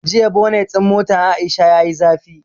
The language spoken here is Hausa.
Jiya bonet ɗin motan Aisha yayi zafi